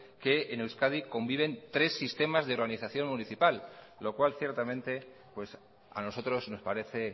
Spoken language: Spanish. que en euskadi conviven tres sistemas de organización municipal lo cual ciertamente a nosotros nos parece